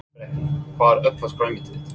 Breki: Hvað er uppáhalds grænmetið þitt?